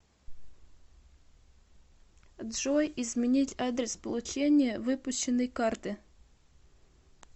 джой изменить адрес получения выпущенной карты